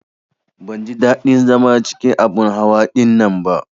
Ban ji ɗadin zama cikin abin hawa ɗinnan ba.